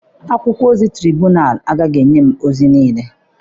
Akwụkwọ ozi Traịbuun agaghị enye m ozi niile.